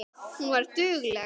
Hún var dugleg.